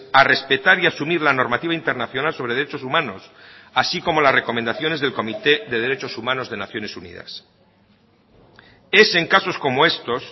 a respetar y a asumir la normativa internacional sobre derechos humanos así como las recomendaciones del comité de derechos humanos de naciones unidas es en casos como estos